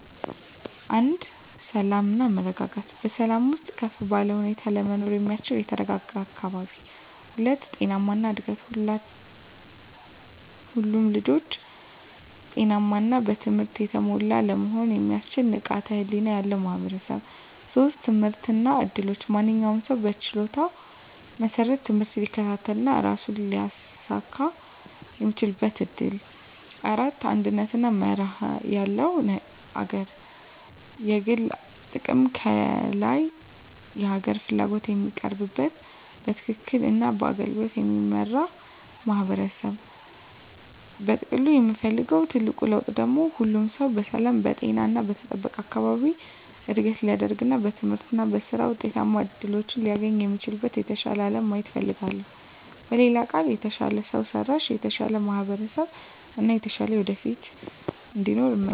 1. ሰላም እና መረጋጋት በሰላም ውስጥ ከፍ ባለ ሁኔታ ለመኖር የሚያስችል የተረጋጋ አካባቢ። 2. ጤናማ እድገት ሁሉም ልጆች ጤናማ እና በትምህርት የተሞሉ ለመሆን የሚያስችል ንቃተ ህሊና ያለው ማህበረሰብ። 3. ትምህርት እና እድሎች ማንኛውም ሰው በችሎታው መሰረት ትምህርት ሊከታተል እና ራሱን ሊያሳኵን የሚችልበት እድል። 4. አንድነት እና መርህ ያለው አገር የግል ጥቅም ከላይ የሀገር ፍላጎት የሚቀርብበት፣ በትክክል እና በአገልግሎት የሚመራበት ማህበረሰብ። በጥቅሉ የምፈልገው ትልቁ ለውጥ ደግሞ ሁሉም ሰው በሰላም፣ በጤና እና በተጠበቀ አካባቢ እድገት ሊያድግ እና በትምህርት እና በሥራ ውጤታማ እድሎችን ሊያገኝ የሚችልበትን የተሻለ አለም ማየት እፈልጋለሁ። በሌላ ቃል፣ የተሻለ ሰው ሰራሽ፣ የተሻለ ማህበረሰብ እና የተሻለ ወደፊት እንዲኖር እመኛለሁ።